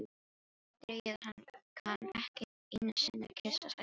Greyið, kann ekki einusinni að kyssa, sagði Lísa.